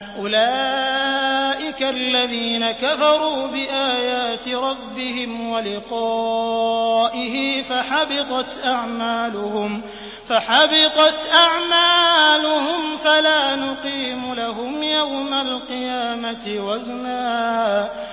أُولَٰئِكَ الَّذِينَ كَفَرُوا بِآيَاتِ رَبِّهِمْ وَلِقَائِهِ فَحَبِطَتْ أَعْمَالُهُمْ فَلَا نُقِيمُ لَهُمْ يَوْمَ الْقِيَامَةِ وَزْنًا